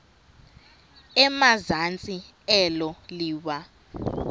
emazantsi elo liwa